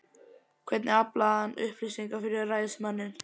Hvernig aflaði hann upplýsinga fyrir ræðismanninn?